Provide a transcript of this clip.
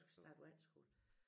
Skal starte på efterskole